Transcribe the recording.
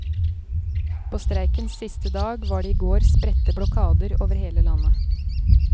På streikens siste dag var det i går spredte blokader over hele landet.